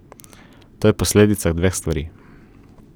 To je posledica dveh stvari.